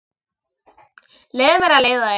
Leyfðu mér að leiða þig.